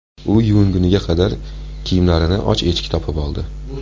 U yuvingunga qadar kiyimlarini och echki topib oldi.